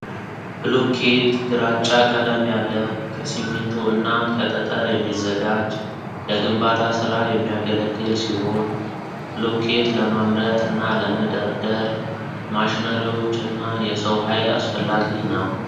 ብሎኬት ግራጫ ቀለም ያለው ከሲሚንቶ እና ከጠጠር የሚዘጋጅ ለግንባታ ስራ የሚያገለግል ሲሆን ብሎኬት ለማምረት እና ለመደራደር ማሽነሪዎች እና የሰው ሀይል አስፈላጊ ነው።